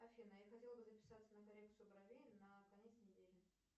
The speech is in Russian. афина я хотела бы записаться на коррекцию бровей на конец недели